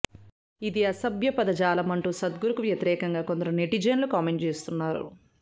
ఇది అసభ్యపద జాలం అంటూ సద్గురుకు వ్యతిరేకంగా కొందరు నెటిజన్లు కామెంట్ చేస్తున్నారు